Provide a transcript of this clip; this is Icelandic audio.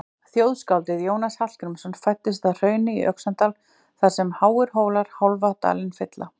Þjóðskáldið Jónas Hallgrímsson fæddist að Hrauni í Öxnadal þar sem háir hólar hálfan dalinn fylla.